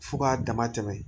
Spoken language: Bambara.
Fo k'a dama tɛmɛ